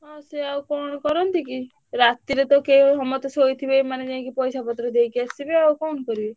ହଁ ସିଏ ଆଉ କଣ କରନ୍ତି କି ରାତି ରେ ତ ସମସ୍ତେ ସୋଇଥିବେ ମାନେ ଯାଇକି ପଇସାପତ୍ର ଦେଇକି ଆସିବେ ଆଉ କଣ କରିବେ!